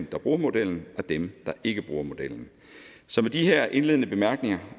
der bruger modellen og dem der ikke bruger modellen så med de her indledende bemærkninger